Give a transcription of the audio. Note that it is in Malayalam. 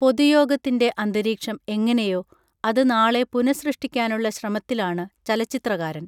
പൊതു യോഗത്തിൻറെ അന്തരീക്ഷം എങ്ങനെയോ അത് നാളെ പുനഃസൃഷ്ടിക്കാനുള്ള ശ്രമത്തിലാണ് ചലച്ചിത്രകാരൻ